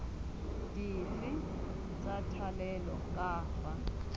dife tsa thalelo ka fa